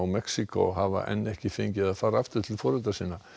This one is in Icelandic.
Mexíkó hafa enn ekki fengið að fara aftur til foreldra sinna